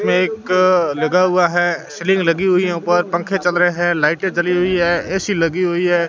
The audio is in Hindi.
यह एक लगा हुआ है सीलिंग लगी हुई है ऊपर पंखे चल रहे हैं लाइटें जली हुई है ऐ_सी लगी हुई है।